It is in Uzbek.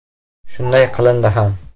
Shunday qilindi ham.